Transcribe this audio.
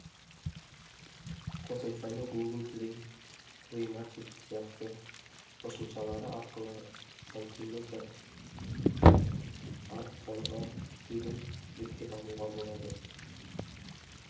қосымшаны гугл плей плей маркет сияқты қосымшалары арқылы сантиметрартфонға тегін жүктеп алуға болады